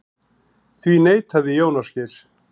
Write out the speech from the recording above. Því neitaði Jón Ásgeir.